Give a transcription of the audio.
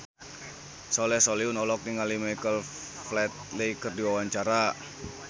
Soleh Solihun olohok ningali Michael Flatley keur diwawancara